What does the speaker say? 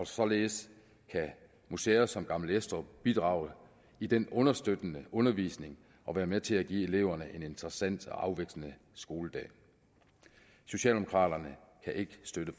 således kan museer som gammel estrup bidrage i den understøttende undervisning og være med til at give eleverne en interessant og afvekslende skoledag socialdemokraterne kan ikke støtte